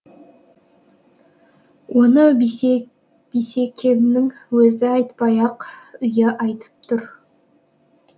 оны бисекеңнің өзі айтпай ақ үйі айтып тұр